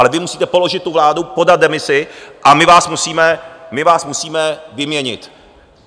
Ale vy musíte položit tu vládu, podat demisi, a my vás musíme vyměnit.